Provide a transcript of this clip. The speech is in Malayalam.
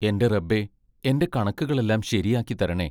എന്റെ റബ്ബേ, എന്റെ കണക്കുകളെല്ലാം ശരിയാക്കി തരണേ!